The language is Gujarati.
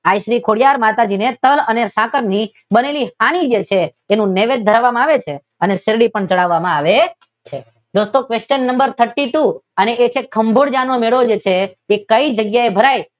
આઈ શ્રી ખોડિયાર માતાજી ને તલ અને સાંકર ની બનેલી સાની છે તેનું નૈવેદ્ય ધરવામાં આવે છે અને ચાંદી પણ ચડાવામાં આવે છે. દોસ્તો પ્રશ્ન નંબર થર્ટી ટુ અને એ છે કે ખાંભોળજા નો મેળો છે એ કઈ જગ્યાએ ભરાય છે?